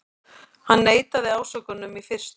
Hann neitaði ásökunum í fyrstu